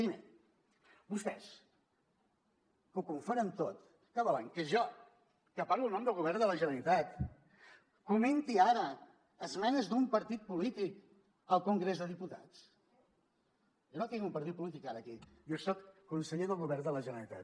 primer vostès que ho confonen tot què volen que jo que parlo en nom del govern de la generalitat comenti ara esmenes d’un partit polític al congrés dels diputats jo no tinc un partit polític ara aquí jo soc conseller del govern de la generalitat